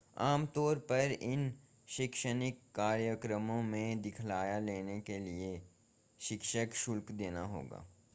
आमतौर पर इन शैक्षणिक कार्यक्रमों में दाखिला लेने के लिए शिक्षण शुल्क देना होगा